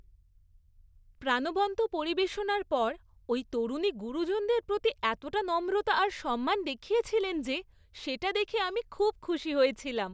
প্রাণবন্ত পরিবেশনার পর ওই তরুণী গুরুজনদের প্রতি এতটা নম্রতা আর সম্মান দেখিয়েছিলেন যে সেটা দেখে আমি খুব খুশি হয়েছিলাম।